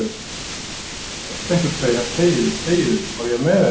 Hún hafi heyrt einhvern segja: þegiðu, þegiðu, á ég að meiða þig?